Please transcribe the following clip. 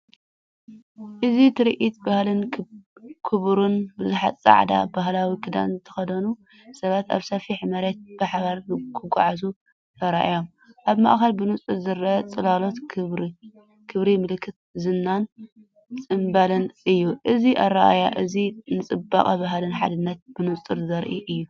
እዚ ትርኢት ባህልን ክብርን! ብዙሓት ጻዕዳ ባህላዊ ክዳን ዝተኸድኑ ሰባት ኣብ ሰፊሕ መሬት ብሓባር ክጓዓዙ ተራእዮም። ኣብ ማእከል ብንጹር ዝረአ ጽላሎት ክብሪ፡ ምልክት ዝናን ጽምብልን እዩ። እዚ ኣረኣእያ እዚ ንጽባቐ ባህልን ሓድነትን ብንጹር ዘርኢ እዩ።